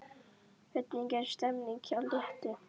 Hvernig er stemningin hjá Létti?